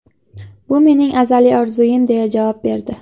Bu mening azaliy orzuyim”, deya javob berdi.